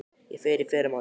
Ég fer í fyrramálið.